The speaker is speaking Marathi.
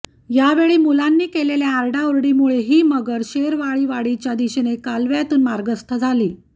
यावेळी मुलांनी केलेल्या आरडाओरडीमुळे ही मगर शेरवाळीवाडीच्या दिशेने कालव्यातून मार्गस्थ झाली